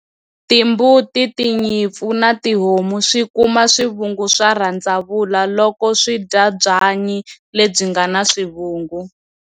Timbuti, tinyimpfu na tihomu swi kuma swivungu swa rhandzavula loko swi dya byanyi lebyi nga na swivungu.